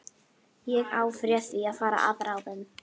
Ég afréð því að fara að ráðum